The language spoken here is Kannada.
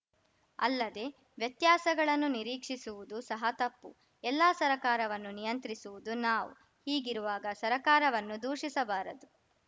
ಅಲ್ಲದೆ ವ್ಯತ್ಯಾಸಗಳನ್ನು ನಿರೀಕ್ಷಿಸುವುದು ಸಹ ತಪ್ಪು ಎಲ್ಲ ಸರ್ಕಾರವನ್ನು ನಿಯಂತ್ರಿಸುವುದು ನಾವು ಹೀಗಿರುವಾಗ ಸರ್ಕಾರವನ್ನು ದೂಷಿಸಬಾರದು